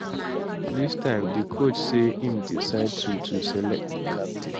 dis time di coach say im decide to to select new captain